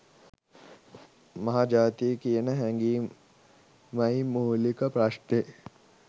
මහ ජාතිය කියන හැඟීමයි මූලික ප්‍රශ්නෙ.